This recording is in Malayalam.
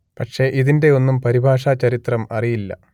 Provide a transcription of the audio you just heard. പക്ഷെ ഇതിന്റെ ഒന്നും പരിഭാഷ ചരിത്രം അറിയില്ല